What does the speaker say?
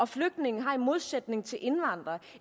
flygtninge har i modsætning til indvandrere